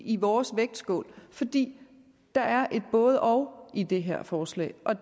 i vores vægtskål fordi der er et både og i det her forslag og